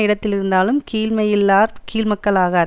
இடத்திருந்தாலும் கீழ்மை யில்லாதார் கீழ்மக்களாகார்